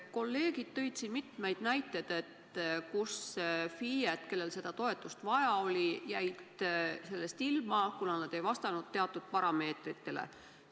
Kolleegid tõid siin mitmeid näiteid, kus FIE-d, kellel seda toetust vaja oli, jäid sellest ilma, kuna nad ei vastanud teatud parameetritele.